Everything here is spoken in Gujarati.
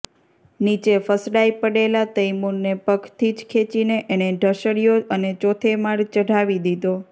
નીચે ફસડાઈ પડેલા તૈમૂરને પગથી જ ખેંચીને એણે ઢસડયો અને ચોથે માળ ચડાવી દીધો